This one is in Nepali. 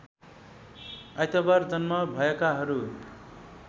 आइतबार जन्म भएकाहरू